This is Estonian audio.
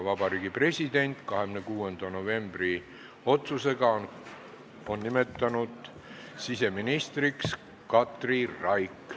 Vabariigi President on 26. novembri otsusega nimetatud siseministriks Katri Raigi.